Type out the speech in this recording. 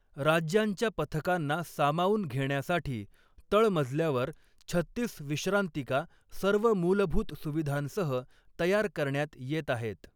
राज्यांच्या पथकांना सामावून घेण्यासाठी तळमजल्यावर छत्तीस विश्रांतिका सर्व मूलभूत सुविधांसह तयार करण्यात येत आहेत.